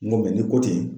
N ko ni ko ten